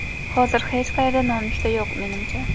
Hozir hech qayerda nonushta yo‘q, menimcha.